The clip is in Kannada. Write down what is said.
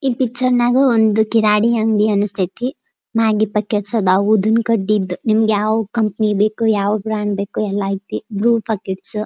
ಈ ಪಿಕ್ಚರ್ ನಾಗ ಒಂದ್ ಕಿರಾಣಿ ಅಂಗಡಿ ಅಂಸ್ಥೈತಿ ಮ್ಯಾಗಿ ಪ್ಯಾಕೆಟ್ಸ್ ಅದಾವ್ ಉದಿನ್ ಕಡ್ಡಿದ್ ನಿಮ್ಗ್ ಯಾವ್ ಕಂಪ್ನಿ ಬೇಕು ಯಾವ ಬ್ರಾಂಡ್ ಬೇಕು ಎಲ್ಲ ಅಯ್ತಿ ಬ್ರೂ ಪ್ಯಾಕೆಟ್ಸು --